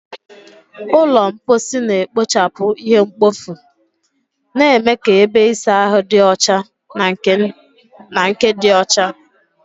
Ụlọ mposi na-ekpochapụ ihe mkpofu, na-eme ka ebe ịsa ahụ dị ọcha na nke dị ọcha.